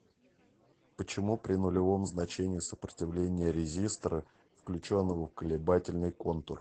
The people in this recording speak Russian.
почему при нулевом значении сопротивления резистора включенного в колебательный контур